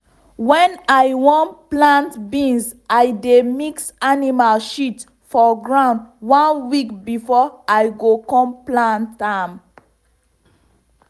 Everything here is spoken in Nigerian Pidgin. i dey always put um animal shit early morning or for evening make um sun no go kill the um food.